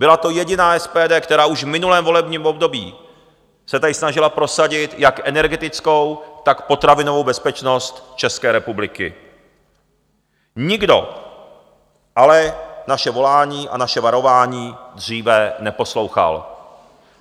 Byla to jediná SPD, která už v minulém volebním období se tady snažila prosadit jak energetickou, tak potravinovou bezpečnost České republiky, nikdo ale naše volání a naše varování dříve neposlouchal.